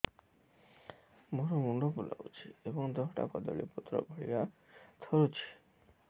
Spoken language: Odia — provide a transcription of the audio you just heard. ମୋର ମୁଣ୍ଡ ବୁଲାଉଛି ଏବଂ ଦେହଟା କଦଳୀପତ୍ର ଭଳିଆ ଥରୁଛି